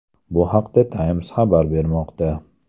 Bu haqda Times xabar bermoqda .